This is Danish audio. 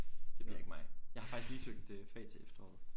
Det bliver ikke mig. Jeg har faktisk lige søgt øh fag til efteråret